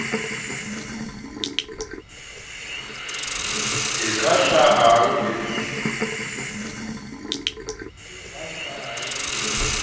e ka hlahang e sa